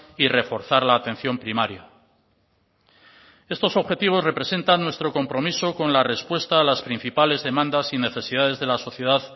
y reforzar la atención primaria estos objetivos representan nuestro compromiso con la respuesta a las principales demandas y necesidades de la sociedad